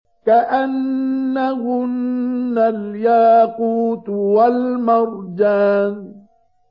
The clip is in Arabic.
كَأَنَّهُنَّ الْيَاقُوتُ وَالْمَرْجَانُ